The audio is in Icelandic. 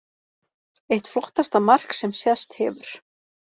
Eitt flottasta mark sem sést hefur.